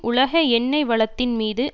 உலக எண்ணெய் வளத்தின் மீது